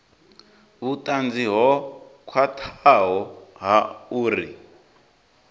vhutanzi ho khwathaho ha uri